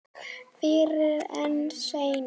Fyrr en seinna.